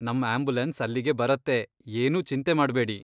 ನಮ್ ಆಂಬ್ಯುಲೆನ್ಸ್ ಅಲ್ಲಿಗೆ ಬರತ್ತೆ, ಏನೂ ಚಿಂತೆ ಮಾಡ್ಬೇಡಿ.